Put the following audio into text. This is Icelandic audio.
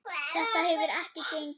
Þetta hefur ekki gengið upp.